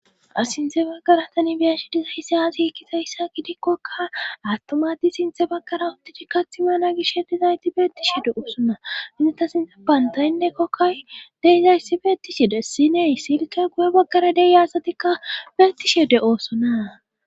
s sinthe baggara tani biyanshi diza hisey aazi ekkizayssa gidikkoka attomati sinthe baggara uttichi kathimana gish hetizayti beettishi de7oosonna ineta sinte bantayinne kokkay deizayssi beettishide siney silke guye baggara deiyasatikka beettishe de7oosona.